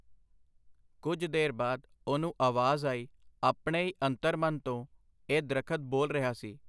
ਕੁਝ ਦੇਰ ਬਾਅਦ ਉਹਨੂੰ ਆਵਾਜ਼ ਆਈ, ਆਪਣੇ ਈ ਅੰਤਰਮਨ ਤੋਂ, ਇਹ ਦਰਖ਼ਤ ਬੋਲ ਰਿਹਾ ਸੀ .